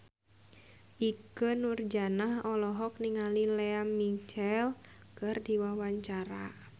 Ikke Nurjanah olohok ningali Lea Michele keur diwawancara